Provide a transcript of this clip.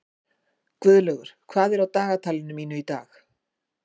Guðlaugur, hvað er á dagatalinu mínu í dag?